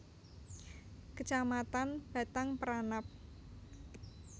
Kecamatan Batang Peranap